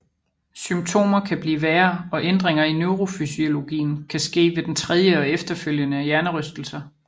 Symptomer kan blive værre og ændringer i neurofysiologien kan ske ved den tredje og efterfølgende hjernerystelser